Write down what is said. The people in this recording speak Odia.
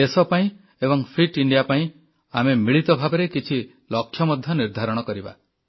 ଦେଶ ପାଇଁ ଏବଂ ଫିଟ୍ ଇଣ୍ଡିଆ ପାଇଁ ଆମେ ମିଳିତ ଭାବରେ କିଛି ଲକ୍ଷ୍ୟ ମଧ୍ୟ ନିର୍ଦ୍ଧାରଣ କରିବା